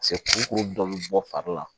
kurukuru dɔ bɛ bɔ fari la